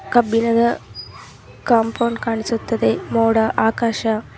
ಕಬ್ಬಿಣದ ಕಾಂಪೌಂಡ್ ಕಾಣಿಸುತ್ತದೆ ಮೋಡ ಆಕಾಶ .